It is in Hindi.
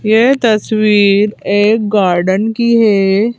यह तस्वीर एक गार्डन की है।